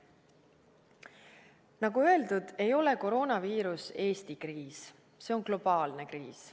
Nagu öeldud, ei ole koroonaviirus Eesti kriis, see on globaalne kriis.